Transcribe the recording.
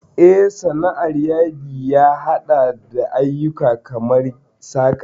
Eh, Sana'ar Yadi ya haɗa da ayyuka kamar saƙa.